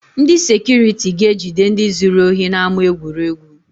Ndị sekuriti ga-ejide ndị zuru ohi n’ama egwuregwu